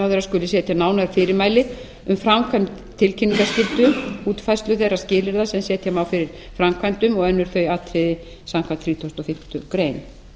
að iðnaðarráðherra skuli setja nánari fyrirmæli um framkvæmd tilkynningarskyldu útfærslu þeirra skilyrða sem setja má fyrir framkvæmdum og önnur þau atriði samkvæmt þrítugustu og fimmtu grein